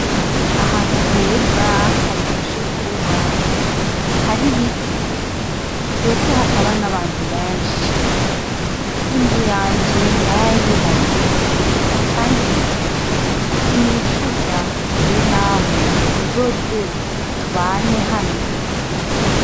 Ahantu heza haryoshe kuba hari biti mbese hataba n'abantu benshi inzu yanje nari ayubatseho, kandi ni ukuri sinicuza rero namwe muzoze tubane hano.